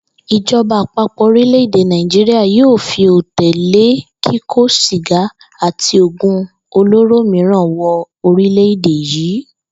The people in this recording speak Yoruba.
Ìjo̩ba àpapò̩ orílè̩-èdè Nàìjíría yóò fi òté lé kíkó sìgá àti oògùn-olóró miiran wo̩ orílè̩-èdè yìí